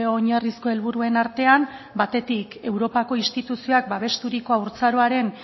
oinarrizko helburuen artean batetik europako instituzioak babesturiko haurtzaroaren